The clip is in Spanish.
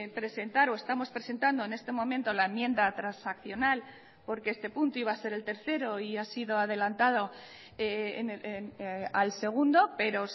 presentar o estamos presentando en este momento la enmienda transaccional porque este punto iba a ser el tercero y ha sido adelantado al segundo pero